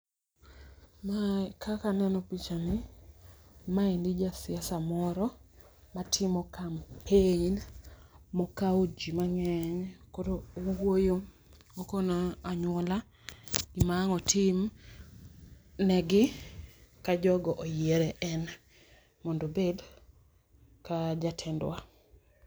Ma kaka aneno picha ni ma en jasiasa moro ma timo kampen ma okawo ji mangeny koro owuoyo, okono anyuola gima wang' no otim ne gi ka jogo oyiere en mondo obed ka jatendwa.